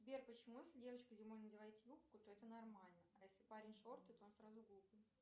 сбер почему если девочка зимой надевает юбку то это нормально а если парень шорты то он сразу глупый